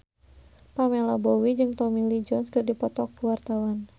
Pamela Bowie jeung Tommy Lee Jones keur dipoto ku wartawan